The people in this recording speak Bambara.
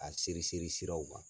A seriseri siraw kan